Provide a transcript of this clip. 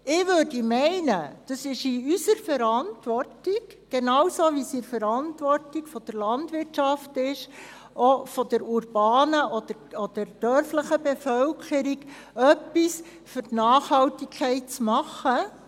Ich würde meinen, es sei in unserer Verantwortung, genauso wie es in der Verantwortung der Landwirtschaft ist, auch von der urbanen oder dörflichen Bevölkerung etwas für die Nachhaltigkeit zu machen.